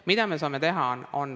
Mida me saame teha?